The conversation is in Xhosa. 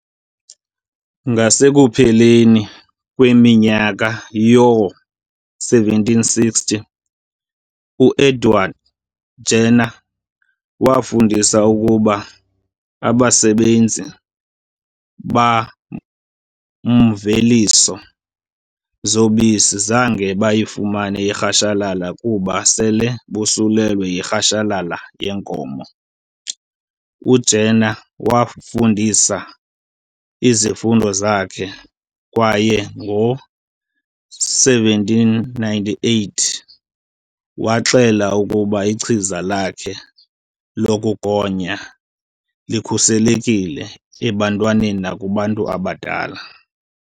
Ngasekupheleni kweminyaka yoo-1760 uEdward Jenner wafunda ukuba abasebenzi bamveliso zobisi zange bayifumane irhashalala kuba sele bosuleleka yirhashalala yenkomo . UJenner wafundisa izifundo zakhe kwaye ngo-1798 waxela ukuba ichiza lakhe lokugonya likhuselekile ebantwaneni nakubantu abadala.